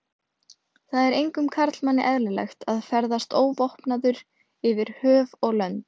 Það er engum karlmanni eðlilegt að ferðast óvopnaður yfir höf og lönd.